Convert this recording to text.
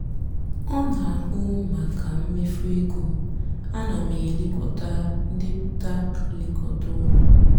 ọ nà-àhụ mákà mmefu égó áná m èlekọtakwá ndepụta nlekọta úló.